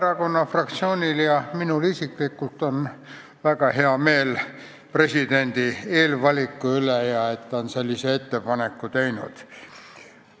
Vabaerakonna fraktsioonil ja minul isiklikult on väga hea meel presidendi eelvaliku üle, et ta on sellise ettepaneku teinud.